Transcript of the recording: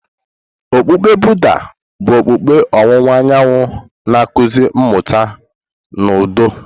Okpukpe Buddha bụ okpukpe ọwụwa anyanwụ na-akụzi mmụta na udo.